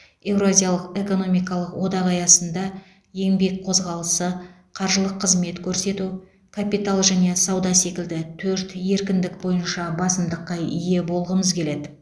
еуразиялық экономикалық одақ аясында еңбек қозғалысы қаржылық қызмет көрсету капитал және сауда секілді төрт еркіндік бойынша басымдыққа ие болғымыз келеді